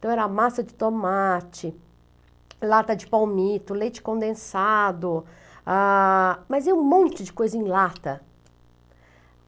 Então era massa de tomate, lata de palmito, leite condensado, ah, mas é um monte de coisa em lata.